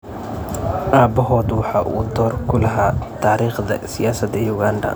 Aabahood waxa uu door ku lahaa taariikhda siyaasadda Uganda.